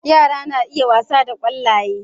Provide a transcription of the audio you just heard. Yara suna iya wasa da ƙwallaye.